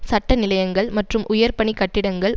சட்ட நிலையங்கள் மற்றும் உயர் பணி கட்டிடங்கள்